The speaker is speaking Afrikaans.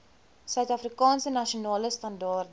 suidafrikaanse nasionale standaarde